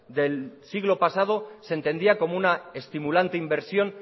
del siglo pasado se entendía como una estimulante inversión